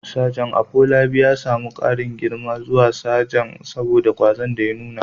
Sajan Afolabi ya samu ƙarin girma zuwa matsayin sajan saboda ƙwazon da ya nuna.